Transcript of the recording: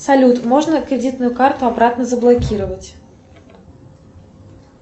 салют можно кредитную карту обратно заблокировать